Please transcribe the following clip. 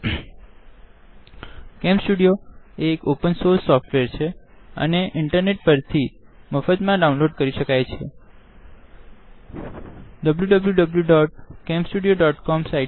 CamStudio cam સ્ટુડીઓએ એક open source software છેઅને ઇન્ટરનેટ પરથી મફતમાં ડાઉનલોડ કરી શ્કાવાય છે